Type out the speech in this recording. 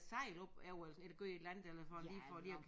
Sejl op eller sådan eller gøre et eller for lige for lige at